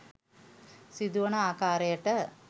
සිදුවන ආකාරයට